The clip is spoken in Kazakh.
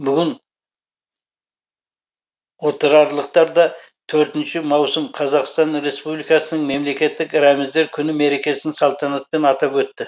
бүгін отырарлықтар да төртінші маусым қазақстан республикасының мемлекеттік рәміздері күні мерекесін салтанатпен атап өтті